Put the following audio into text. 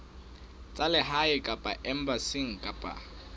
tsa lehae kapa embasing kapa